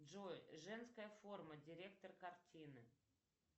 джой женская форма директор картины